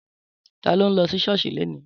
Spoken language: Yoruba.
Tàlo ń lo si sọosi lèni?